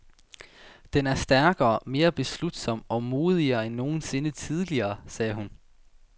Den er stærkere, mere beslutsom og modigere end nogen sinde tidligere, sagde hun.